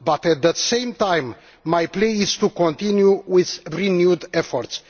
But, at the same time, my plea is to continue with renewed efforts.